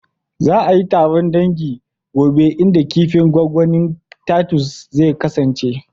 Za a yi taron dangi gobe inda kifin gwangwanin titus zai kasance